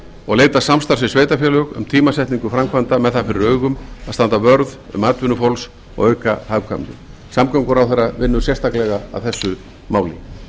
og leita samstarfs við sveitarfélög um tímasetningu framkvæmda með það fyrir augum að standa vörð um atvinnu fólks og auka hagkvæmni samgönguráðherra vinnur sérstaklega að þessu máli